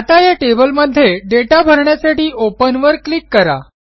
आता या टेबलमध्ये दाता भरण्यासाठी Openवर क्लिक करा